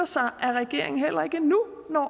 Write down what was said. sig at regeringen heller ikke nu når